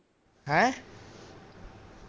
ਹੈਂ